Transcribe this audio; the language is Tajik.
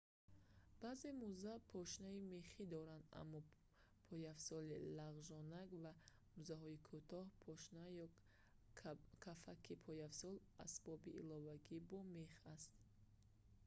баъзе мӯза пошнаи мехӣ доранд аммо пойафзоли лағжонак ва мӯзаҳои кӯтоҳ пошна ё кафаки пойафзол асбоби иловагӣ бо мех ҳаст